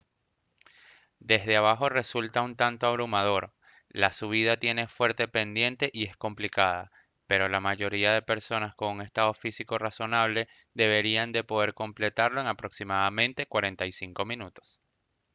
desde abajo resulta un tanto abrumador la subida tiene fuerte pendiente y es complicada pero la mayoría de personas con un estado físico razonable deberían de poder completarlo en aproximadamente 45 minutos